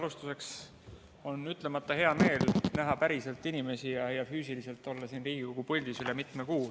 Alustuseks on ütlemata hea meel näha päriselt inimesi ja olla üle mitme kuu füüsiliselt siin Riigikogu puldis.